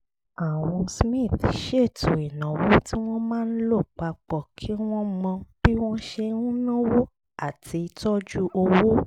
àwọn smith ṣètò ìnáwó tí wọ́n máa lò pa pọ̀ kí wọ́n mọ bí wọ́n ṣe ń náwó àti tọ́jú owó